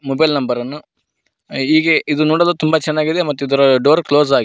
mobile number ಅನ್ನು ಹೀಗೆ ಇದು ನೋಡಲು ತುಂಬ ಚೆನ್ನಾಗಿದೆ ಮತ್ತೆ ಇದರ ಡೋರ್ ಕ್ಲೋಸ್ ಆಗಿ --